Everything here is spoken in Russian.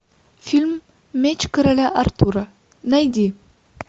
фильм меч короля артура найди